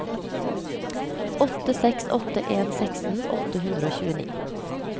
åtte seks åtte en seksten åtte hundre og tjueni